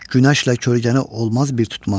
Günəşlə kölgəni olmaz bir tutmaq.